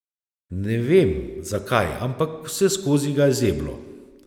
Ne vem, zakaj, ampak vseskozi ga je zeblo.